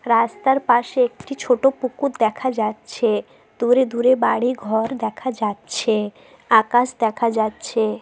রাস্তার পাশে একটি ছোট পুকুর দেখা যা-চ্ছে। দূরে দূরে বাড়ি ঘর দেখা যা-চ্ছে। আকাশ দেখা যা-চ্ছে ।